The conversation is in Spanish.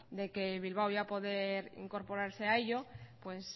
de que bilbao iba a poder incorporarse a ello pues